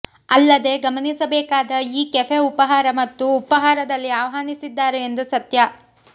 ಅಲ್ಲದೆ ಗಮನಿಸಬೇಕಾದ ಈ ಕೆಫೆ ಉಪಹಾರ ಮತ್ತು ಉಪಾಹಾರದಲ್ಲಿ ಆಹ್ವಾನಿಸಿದ್ದಾರೆ ಎಂದು ಸತ್ಯ